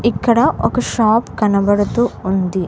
ఇక్కడ ఒక షాప్ కనబడుతూ ఉంది.